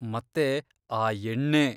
ಮತ್ತೆ ಆ ಎಣ್ಣೆ!